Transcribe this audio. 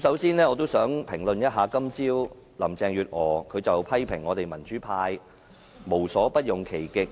首先，我也想評論今早林鄭月娥批評我們民主派無所不用其極，